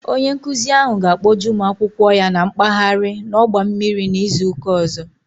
Onye nkụzi ahụ ga kpọje ụmụ akwụkwọ ya mkpaghari n'ọgba mmiri n'izuka ọzọ